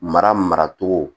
Mara maracogo